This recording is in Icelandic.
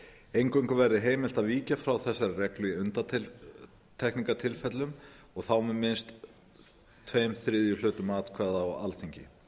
eingöngu verði heimilt að víkja frá þessari reglu í undantekningartilfellum og þá með minnst tveir þriðju hlutum atkvæða á alþingi